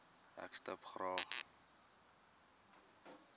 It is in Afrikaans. ek stip graag